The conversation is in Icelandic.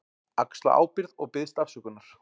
Axla ábyrgð og biðst afsökunar.